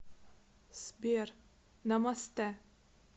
сбер намастэ